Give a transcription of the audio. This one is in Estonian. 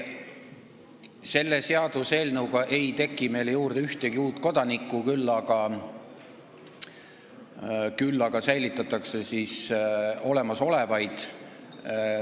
Selle seaduseelnõu kohaselt ei teki meil juurde ühtegi uut kodanikku, küll aga hoitakse olemasolevaid.